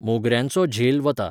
मोगऱ्यांचो झेलो वता